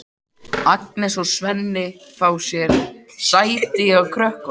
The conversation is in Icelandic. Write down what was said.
Agnes og Svenni fá sér sæti hjá krökkunum.